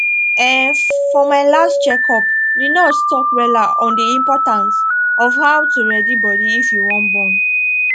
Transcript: um for my last check up the nurse talk wella on the importance of how to ready body if you wan born